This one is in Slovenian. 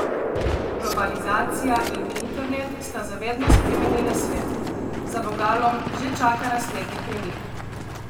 Globalizacija in internet sta za vedno spremenila svet, za vogalom že čaka naslednji premik.